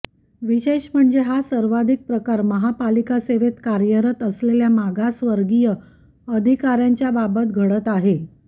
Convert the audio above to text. विशेष म्हणजे हा सर्वाधिक प्रकार महापालिका सेवेत कार्यरत असलेल्या मागासवर्गीय अधिकाऱ्यांच्या बाबत घडत आहे